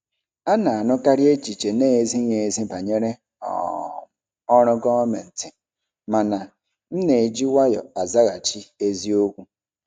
A na-anụkarị echiche na-ezighị ezi banyere um ọrụ gọọmentị, mana m na-eji nwayọọ azaghachi eziokwu.